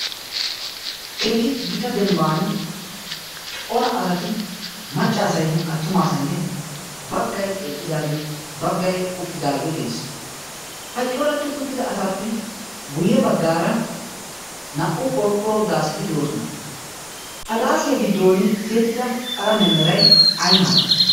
keehi gita dembban cora asati maccaasainne attumaasainne baggai eqqidaagee baggai uttidaagee de7ees. haccoratti uttida asaappe guyye baggaara naa77u qorqqoro daaseti de7oosona. ha daasiyaa giddon tiyettida qalame merai ai malai?